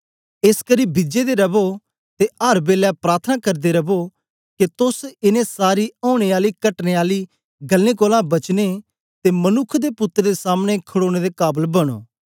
एसकरी बिजे दे रवो ते अर बेलै प्रार्थना करदे रवो के तोस इनें सारी औने आली कटने आली गल्लें कोलां बचने ते मनुक्ख दे पुत्तर दे सामने खड़ोने दे काबल बनो